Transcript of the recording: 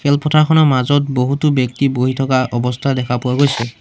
খেলপথাৰখনৰ মাজত বহুতো ব্যক্তি বহি থকা অৱস্থা দেখা পোৱা গৈছে।